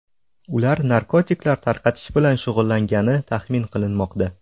Ular narkotiklar tarqatish bilan shug‘ullangani taxmin qilinmoqda.